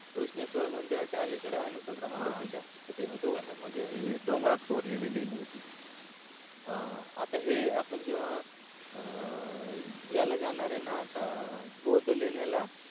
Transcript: घृण्श्वेर मंदिराच्या आलिकडे भद्रा मंदिराच्या मध्ये म्हणजे दोघांच्या मध्ये हूं हूंं डोंगरात कोरलेली लेणीय ती हा आता हे आपण जेव्हा अ याल जाणारय आता बौद्ध लेण्याला